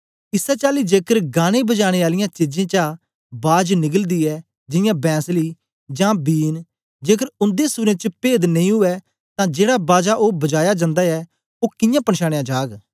इसै चाली जेकर गानेंबजानें आलियां चीजें चा बाज निकलदी ऐ जियां बैंसली जां बीन जेकर उन्दे सूरें च पेद नेई उवै तां जेड़ा बाजा ओ बजाया जंदा ऐ ओ कियां पनछानयां जाग